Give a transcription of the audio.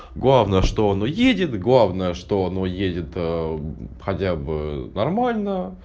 главное что оно уедет главное что оно уедет хотя бы нормально